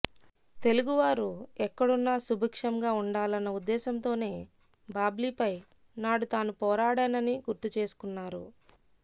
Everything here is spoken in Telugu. తెలుగువారు ఎక్కడున్నా సుభిక్షంగా ఉండాలన్న ఉద్దేశంతోనే బాబ్లీపై నాడు తాను పోరాడానని గుర్తు చేసుకున్నారు